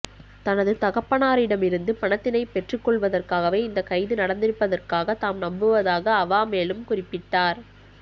தனது தகப்பனாரிடமிருந்து பணத்தினை பெற்றுக்கொள்வதற்காகவே இந்தக் கைது நடந்திருப்பதாக தாம் நம்புவதாக அவா மேலும் குறிப்பிட்டார்